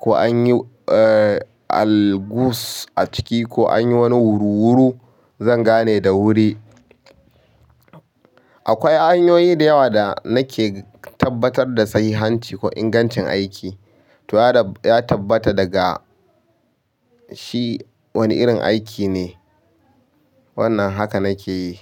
ko an yi, eh, algus a ciki ko an yi wani wuru-wuru, zan gane da wuri. Akwai hanyoyi da yawa da nake tabbatar da sahihanci ko ingancin aiki. To ya dab ya tabbata daga shi wani irin aiki ne, wannan haka nake yi.